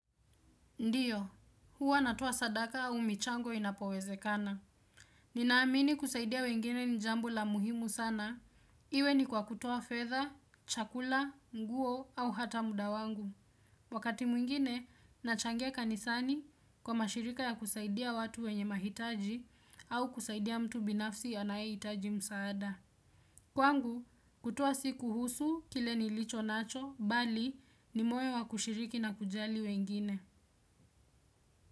Ndiyo, huwa natoa sadaka au michango inapowezekana. Ninaamini kusaidia wengine ni jambo la muhimu sana. Iwe ni kwa kutoa fedha, chakula, nguo au hata muda wangu. Wakati mwingine, nachangia kanisani kwa mashirika ya kusaidia watu wenye mahitaji au kusaidia mtu binafsi anayehitaji msaada. Kwangu, kutoa si kuhusu kile nilicho nacho, bali ni moyo wa kushiriki na kujali wengine.